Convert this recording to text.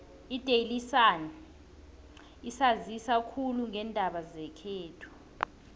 idaily sun isanzisa khulu ngeendaba zekhethu